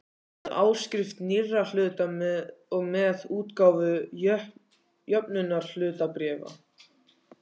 með áskrift nýrra hluta og með útgáfu jöfnunarhlutabréfa.